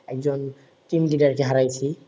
একজন team leader কে হারাইছি